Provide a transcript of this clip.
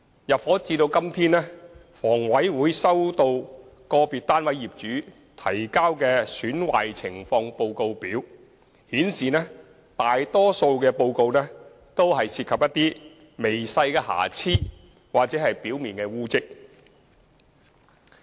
入伙至今，房委會所收到個別單位業主提交的"損壞情況報告表"顯示，損壞大多數均涉及一些微細的瑕疵或表面污漬。